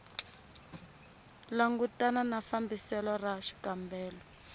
langutana na fambiselo ra xikombelo